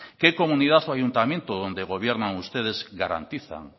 qué comunidad o ayuntamiento donde gobiernan ustedes garantizan